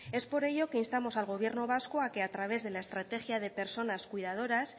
es por ello que instamos al gobierno vasco a que a través de la estrategia de personas cuidadoras